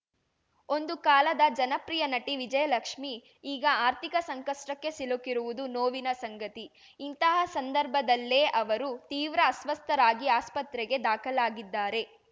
ಒಂದು ಕಾಲದ ಜನಪ್ರಿಯ ನಟಿ ವಿಜಯಲಕ್ಷ್ಮಿ ಈಗ ಆರ್ಥಿಕ ಸಂಕಷ್ಟಕ್ಕೆ ಸಿಲುಕಿರುವುದು ನೋವಿನ ಸಂಗತಿ ಇಂತಹ ಸಂದರ್ಭದಲ್ಲೇ ಅವರು ತೀವ್ರ ಅಸ್ವಸ್ಥರಾಗಿ ಆಸ್ಪತ್ರೆಗೆ ದಾಖಲಾಗಿದ್ದಾರೆ